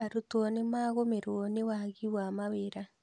Arutwo nĩ magũmĩrwo nĩ wagi wa mawĩra